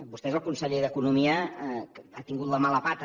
vostè és el conseller d’economia que ha tingut la mala pata